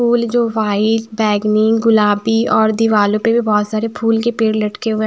फूल जो वाइट बैंगनी गुलाबी और दीवालों पर भी बहुत सारे फूल के पेड़ लटके हुए हैं।